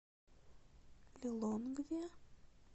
лилонгве